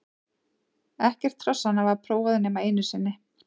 Ekkert hrossanna var prófað nema einu sinni.